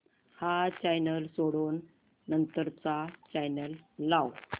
हा चॅनल सोडून नंतर चा चॅनल लाव